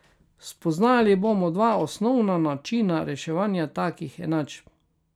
Spoznali bomo dva osnovna načina reševanja takih enačb.